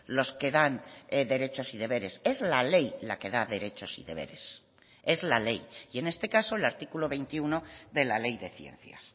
los que dan derechos y deberes es la ley la que da derechos y deberes es la ley y en este caso el artículo veintiuno de la ley de ciencias